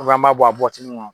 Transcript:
an b'a bɔ a bɔwatini kɔnɔ